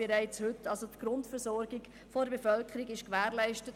Somit ist die Grundversorgung der Bevölkerung gewährleistet.